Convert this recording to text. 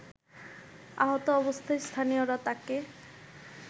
আহত অবস্থায় স্থানীয়রা তাকে